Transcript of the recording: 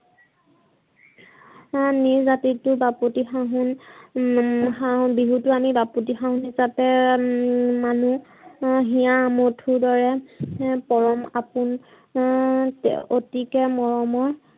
এই জাতিতোৰ বাপতিসাহোন হম বিহুতো আমি বাপোতিসহোন হিছাপে মানো। হিয়াৰ আমঠুৰ দৰে পৰম আপোন অতিকে মৰমৰ